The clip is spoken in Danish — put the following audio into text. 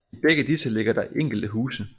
I begge disse ligger der enkelte huse